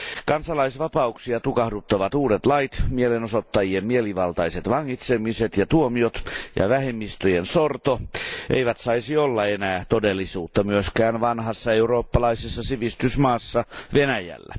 Kansalaisvapauksia tukahduttavat uudet lait, mielenosoittajien mielivaltaiset vangitsemiset ja tuomiot ja vähemmistöjen sorto eivät saisi olla enää todellisuutta vanhassa eurooppalaisessa sivistysmaassa Venäjällä.